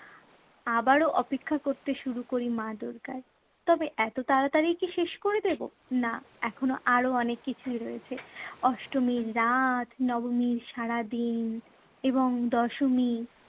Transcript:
আবারো অপেক্ষা করতে শুরু করি মা দুর্গার। তবে এতো তাড়াতড়ি কি শেষ করে দেব? না, এখনো আরো অনেক কিছুই রয়েছে। অষ্টমীর রাত, নবমীর সারাদিন এবং দশমী